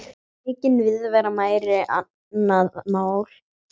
Aukin viðvera væri annað mál.